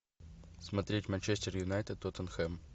смотреть манчестер юнайтед тоттенхэм